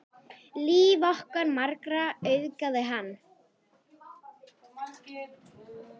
Líf okkar margra auðgaði hann.